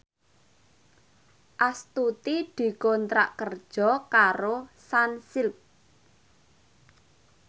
Astuti dikontrak kerja karo Sunsilk